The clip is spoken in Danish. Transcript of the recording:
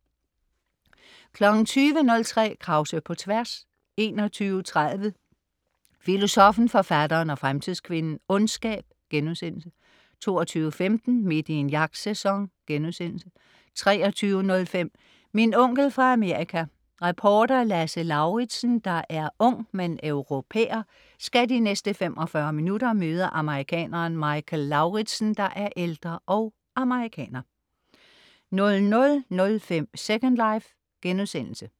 20.03 Krause på tværs 21.30 Filosoffen, Forfatteren og Fremtidskvinden - Ondskab* 22.15 Midt i en jagtsæson* 23.05 Min onkel fra Amerika. Reporter Lasse Lauridsen, der er ung, men europærer, skal de næste 45 minutter møde amerikaneren Michael Lauridsen, der er ældre og amerikaner 00.05 Second life*